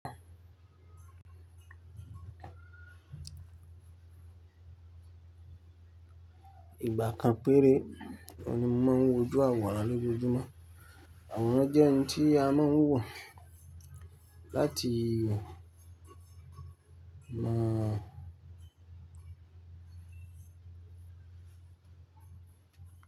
Ìgbà kan péré o ni mo máa ń wòjú àwòrán lójoojúmọ́. Àwòrán jẹ́ ohun tí a máa ń wò láti mọ̀